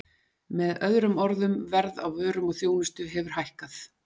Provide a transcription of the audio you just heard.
Með öðrum orðum, verð á vörum og þjónustu hefur hækkað.